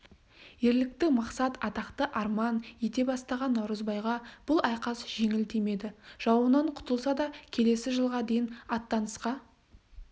ерлікті мақсат атақты арман ете бастаған наурызбайға бұл айқас жеңіл тимеді жауынан құтылса да келесі жылға дейін аттанысқа